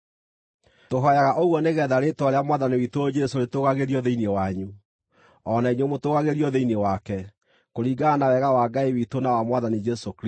Tũhooyaga ũguo nĩgeetha rĩĩtwa rĩa Mwathani witũ Jesũ rĩtũũgagĩrio thĩinĩ wanyu, o na inyuĩ mũtũũgagĩrio thĩinĩ wake, kũringana na wega wa Ngai witũ na wa Mwathani Jesũ Kristũ.